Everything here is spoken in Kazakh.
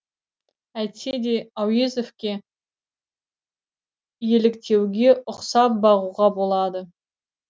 әйтсе де әуезовке еліктеуге ұқсап бағуға болады